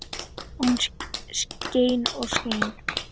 Og hún skein og skein.